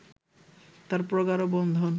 তাঁর প্রগাঢ় বন্ধন